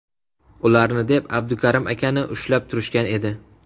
Ularni deb Abdukarim akani ushlab turishgan edi.